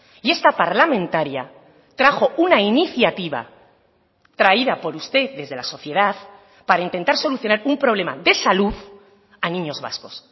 y esta parlamentaria trajo una iniciativa traída por usted desde la sociedad para intentar solucionar un problema de salud a niños vascos